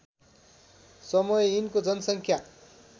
समय यिनको जनसङ्ख्या